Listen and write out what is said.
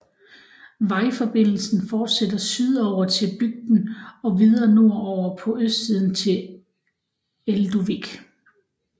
Vejforbindelsen fortsætter sydover til bygden og videre nordover på østsiden til Elduvík